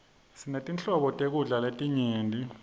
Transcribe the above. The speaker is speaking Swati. sinetinhlobo tekudla letinyenti